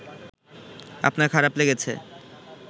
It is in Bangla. আপনার খারাপ লেগেছে